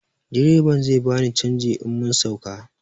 Direban zai bani canji in mun sauka